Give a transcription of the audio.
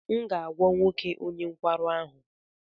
M ga-agwọ nwoke onye nkwarụ ahụ.